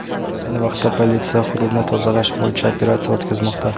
Ayni vaqtda politsiya hududni tozalash bo‘yicha operatsiya o‘tkazmoqda.